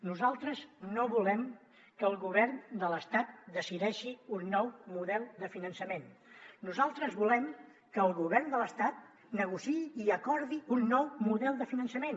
nosaltres no volem que el govern de l’estat decideixi un nou model de finançament nosaltres volem que el govern de l’estat negociï i acordi un nou model de finançament